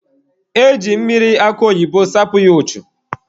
E ji mmiri akụ oyibo sapụ ya ụchụ.